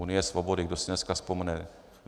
Unie svobody, kdo si dneska vzpomene?